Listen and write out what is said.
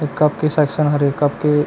ए cup के section हरे cup के--